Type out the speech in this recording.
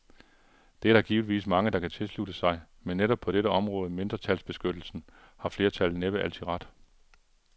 Det er der givetvis mange, der kan tilslutte sig, men netop på dette område, mindretalsbeskyttelsen, har flertallet næppe altid ret.